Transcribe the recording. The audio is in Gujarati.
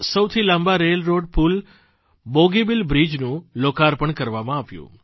દેશના સૌથી લાંબા રેલ રોડ પૂલ બોગીબિલ બ્રિજનું લોકાર્પણ કરવામાં આવ્યું